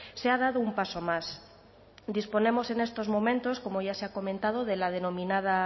se ha dado un paso más disponemos en estos momentos como ya se ha comentado de la denominada